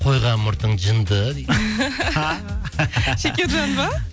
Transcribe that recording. қойған мұртың жынды дейді шекержан ба